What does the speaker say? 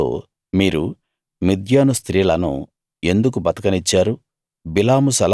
అతడు వారితో మీరు మిద్యాను స్త్రీలను ఎందుకు బతకనిచ్చారు